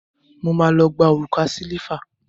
Mo má lọ gba òrùka sílíífà.